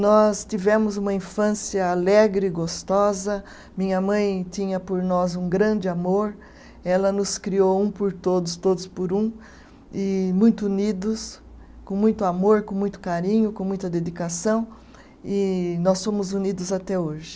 Nós tivemos uma infância alegre e gostosa, minha mãe tinha por nós um grande amor, ela nos criou um por todos, todos por um, e muito unidos, com muito amor, com muito carinho, com muita dedicação, e nós somos unidos até hoje.